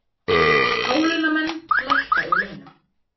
Hálaunamenn lækka í launum